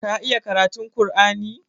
Ka iya karatun ƙur'ani?